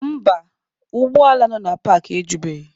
Mba, ụgbọ ala nọ na paakị ejubeghị.